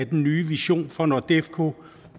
den nye vision for nordefco